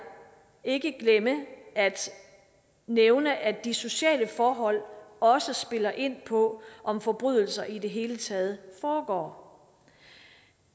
ikke glemme at nævne at de sociale forhold også spiller ind på om forbrydelser i det hele taget foregår